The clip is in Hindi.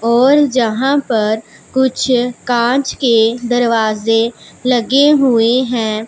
और जहां पर कुछ कांच के दरवाजे लगे हुए हैं।